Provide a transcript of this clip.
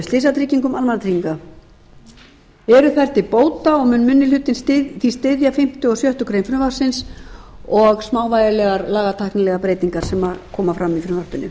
slysatryggingum almannatrygginga eru þær til bóta og mun minni hlutinn því styðja fimmta og sex greinar frumvarpsins og smávægilegar lagatæknilegar breytingar sem koma fram í frumvarpinu